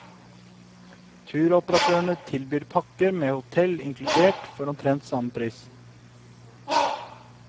Turoperatører tilbyr pakker med hotell inkludert for omtrent samme pris.